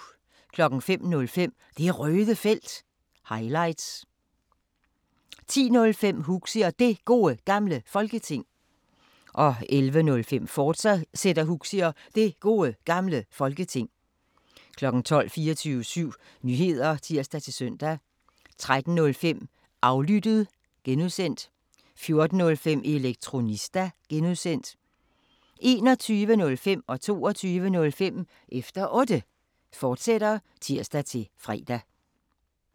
05:05: Det Røde Felt – highlights 10:05: Huxi og Det Gode Gamle Folketing 11:05: Huxi og Det Gode Gamle Folketing, fortsat 12:00: 24syv Nyheder (tir-søn) 13:05: Aflyttet (G) 14:05: Elektronista (G) 21:05: Efter Otte, fortsat (tir-fre) 22:05: Efter Otte, fortsat (tir-fre)